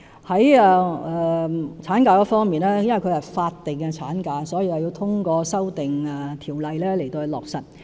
在產假方面，由於它是法定產假，所以要透過修訂法例落實。